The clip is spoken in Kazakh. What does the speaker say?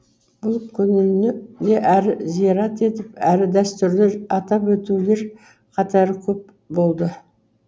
бұл күніні де әрі зират етіп әрі дәстүрді атап өтулер қатары көп болды